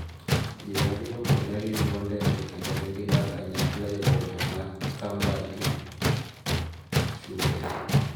Ji ariyogo ne gin riembo ndege kendo ne gidak kanyakla e boma ma Camberley, Surrey.